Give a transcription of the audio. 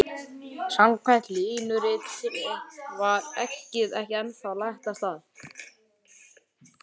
Samkvæmt línuritinu var eggið ekki ennþá lagt af stað.